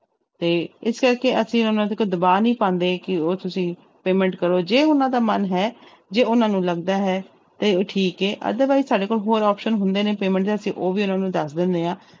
ਤੇ ਇਸ ਕਰਕੇ ਅਸੀਂ ਉਹਨਾਂ ਤੇ ਕੋਈ ਦਬਾਅ ਨੀ ਪਾਉਂਦੇ ਕਿ ਉਹ ਤੁਸੀਂ payment ਕਰੋ ਜੇ ਉਹਨਾਂ ਦਾ ਮਨ ਹੈ ਜੇ ਉਹਨਾਂ ਨੂੰ ਲੱਗਦਾ ਹੈ ਤੇ ਠੀਕ ਹੈ otherwise ਸਾਡੇ ਕੋਲ ਹੋਰ option ਹੁੰਦੇ ਨੇ payment ਦੇ ਅਸੀਂ ਉਹ ਵੀ ਉਹਨਾਂ ਨੂੰ ਦੱਸ ਦਿੰਦੇ ਹਾਂ।